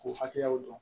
K'u hakɛyaw dɔn